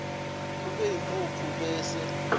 ube yimphuphu bese